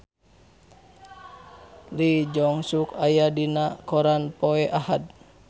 Lee Jeong Suk aya dina koran poe Ahad